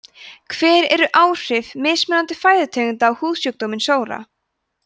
hver eru áhrif mismunandi fæðutegunda á húðsjúkdóminn sóra